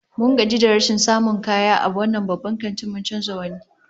Mun gaji da rashin samun kaya a wannan babban kantin, mun canza wani